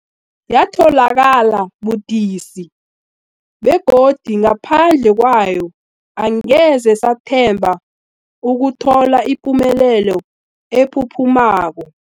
Yatholakala budisi, begodu ngaphandle kwayo angeze sathemba ukuthola ipumelelo ephuphumako.